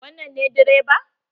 Wannan ne direba?